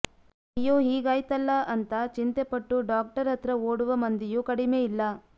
ಅಯ್ಯೋ ಹೀಗಾಯ್ತಲ್ಲ ಅಂತ ಚಿಂತೆ ಪಟ್ಟು ಡಾಕ್ಟರ್ ಹತ್ರ ಓಡುವ ಮಂದಿಯೂ ಕಡಿಮೆ ಇಲ್ಲ